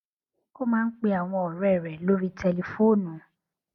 ó máa ń pe àwọn òré rè lórí tẹlifóònù